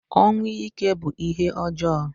Ọnwụ ike bu ihé ọjọọ.